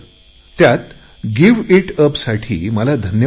त्यात give it up साठी मला धन्यवाद दिले